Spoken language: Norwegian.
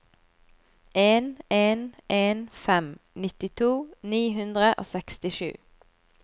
en en en fem nittito ni hundre og sekstisju